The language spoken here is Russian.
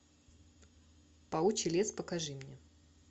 паучий лес покажи мне